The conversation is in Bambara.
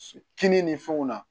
Kini ni fɛnw na